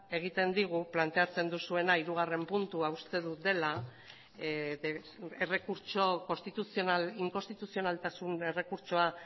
egiten digu planteatzen duzuena hirugarren puntua uste dut dela errekurtso konstituzional inkonstituzionaltasun errekurtsoa